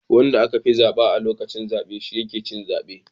Wanda aka fi zaba a lokacin zabe shi yake cin zaben